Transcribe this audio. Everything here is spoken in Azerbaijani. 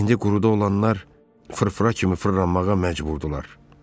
İndi quruda olanlar fırfıra kimi fırlanmağa məcburdurlar.